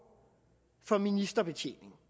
for ministerbetjening